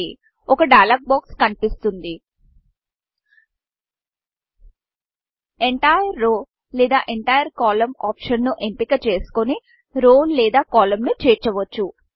ఒక డైలాగ్ boxడైలాగ్ బాక్స్ కనిపిస్తుంది ఎంటైర్ రౌ ఎంటైర్ రోలేదా ఎంటైర్ కోలమ్న్ optionఎంటైర్ కాలమ్ ఆప్షన్ను ఎంచుకొని రౌ రోలేదా కోలమ్న్ కాలమ్ను చేర్చవచ్చు